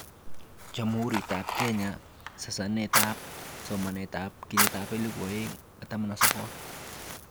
Jamhurutab Kenya sasanetab somanet 2019